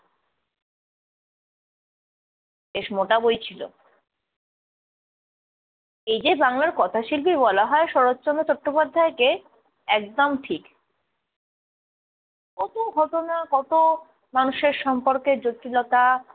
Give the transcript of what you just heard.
বেশ মোটা বই। এই যে বাংলার কথা শিল্পী বলা হয় শরৎচন্দ্র চট্টোপাধ্যায়কে, একদম ‍ঠিক। কত ঘটনা, কত মানুষের সম্পর্কের জটিলতা ।